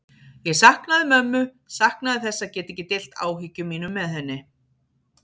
Ég saknaði mömmu, saknaði þess að geta ekki deilt áhyggjum mínum með henni.